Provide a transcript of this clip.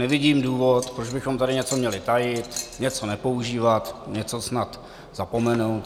Nevidím důvod, proč bychom tady něco měli tajit, něco nepoužívat, něco snad zapomenout.